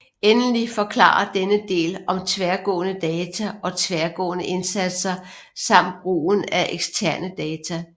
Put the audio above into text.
Endelig forklarer denne del om tværgående data og tværgående indsatser samt brugen af eksterne data